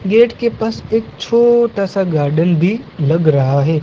Gate के पास एक छोटा सा गार्डन भी लग रहा है।